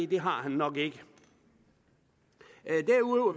det har han nok ikke derudover